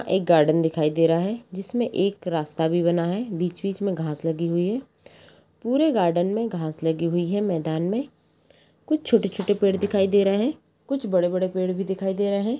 एक गार्डन दिखाई दे रहा है जिसमें एक रास्ता भी बना है बीच -बीच में घास लगी हुुई है पूरे गार्डन में घास लगी हुई है मैदान में कुछ छोटे- छोटे पेड़ दिखाई दे रहे हैं कुछ बड़े बड़े पेड़ भी दिखाई दे रहे हैं।